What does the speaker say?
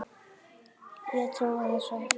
Ég trúði þessu ekki.